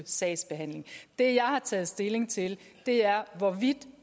sagsbehandling det jeg har taget stilling til er hvorvidt